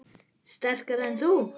Sterkari en þú?